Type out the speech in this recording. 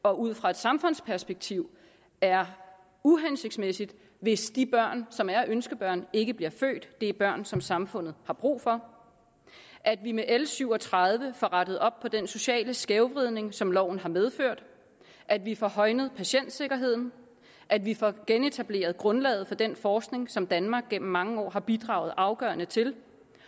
og ud fra et samfundsperspektiv er uhensigtsmæssigt hvis de børn som er ønskebørn ikke bliver født det er børn som samfundet har brug for at vi med l syv og tredive får rettet op på den sociale skævvridning som loven har medført at vi får højnet patientsikkerheden at vi får genetableret grundlaget for den forskning som danmark gennem mange år har bidraget afgørende til